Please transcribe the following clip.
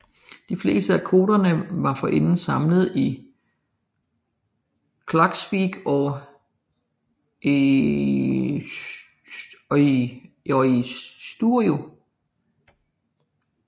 De fleste af kvoterne var forinden samlet i Klaksvík og Eysturoy